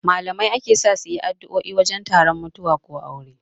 Malamai ake sa suyi addo'o'i wajen taron mutuwa ko aure